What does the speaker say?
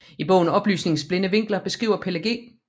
I bogen Oplysningens blinde vinkler beskriver Pelle G